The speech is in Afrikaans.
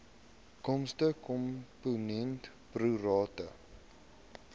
kostekomponent pro rata